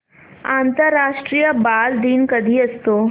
आंतरराष्ट्रीय बालदिन कधी असतो